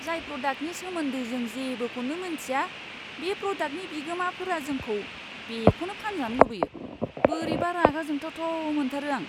जाय प्रडाक्टनि सोमोन्दै जों जेबोखौनो मोनथिया बे प्रडाक्टनि बिगोमाफोरा जोंखौ बेखौनो फानजानो लुबैयो, बोरैबा रागा जोंथावथाव मोनथारो आं!